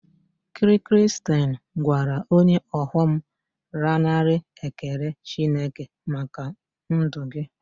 Kiriristain gwara onye ọghọm lanarị Ekele Chineke maka ndụ gị